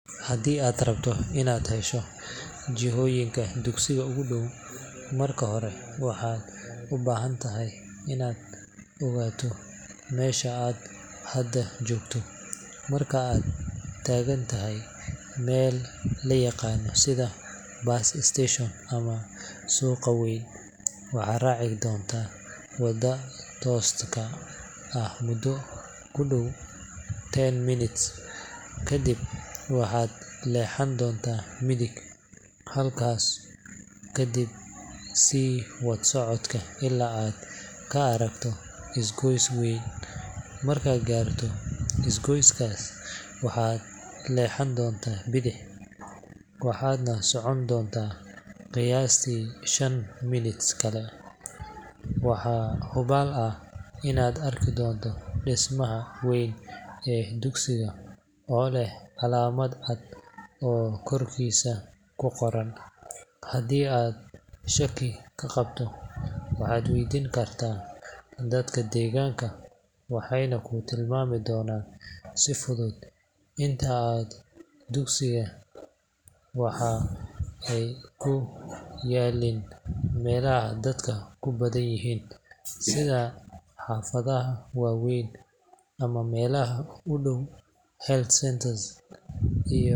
Haddii aad rabto inaad hesho jihooyinka dugsiga ugu dhow, marka hore waxaad u baahan tahay inaad ogaato meesha aad hadda joogto. Marka aad taagan tahay meel la yaqaan sida bus station ama suuqa weyn, waxaad raaci doontaa waddada tooska ah muddo ku dhow ten minutes, ka dibna waxaad leexan doontaa midig. Halkaas kadib, sii wad socodka ilaa aad ka aragto isgoyska weyn. Markaad gaarto isgoyskaas, waxaad leexan doontaa bidix, waxaadna socon doontaa qiyaastii five minutes kale. Waxaa hubaal ah inaad arki doonto dhismaha weyn ee dugsiga oo leh calaamad cad oo korkiisa ku qoran. Haddii aad shaki ka qabto, waxaad weydiin kartaa dadka deegaanka, waxay ku tilmaami doonaan si fudud. Inta badan dugsiyada waxay ku yaalliin meelaha dadku ku badan yihiin, sida xaafadaha waaweyn ama meelaha u dhow health centers.